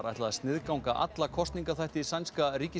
ætla að sniðganga alla kosningaþætti sænska